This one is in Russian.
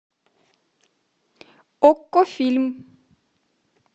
окко фильм